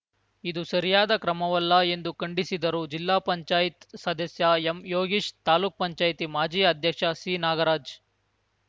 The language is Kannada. ಇದು ಸರಿಯಾದ ಕ್ರಮವಲ್ಲ ಎಂದು ಖಂಡಿಸಿದರು ಜಿಲ್ಲಾ ಪಂಚಾಯತ್ ಸದಸ್ಯ ಎಂಯೋಗೀಶ್‌ ತಾಲೂಕ್ ಪಂಚಾಯತ್ ಮಾಜಿ ಅಧ್ಯಕ್ಷ ಸಿನಾಗರಾಜ್‌